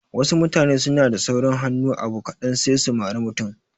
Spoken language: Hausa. Wasu mutane suna da saurin hannu abu kaɗan sai su mari mutum